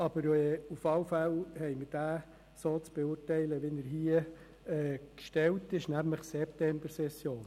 Aber auf jeden Fall haben wir den Antrag so zu beurteilen, wie er hier gestellt ist, und hier steht «Septembersession».